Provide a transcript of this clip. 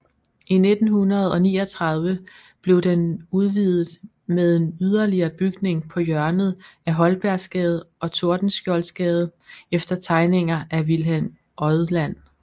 I 1939 blev den udvidet med en yderligere bygning på hjørnet af Holbergsgade og Tordenskjoldsgade efter tegninger af Wilhelm Odland